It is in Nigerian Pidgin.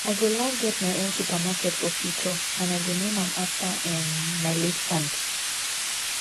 i go like get my own supermarket for future and i go name am after um my late aunt